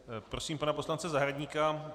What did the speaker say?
Prosím pana poslance Zahradníka.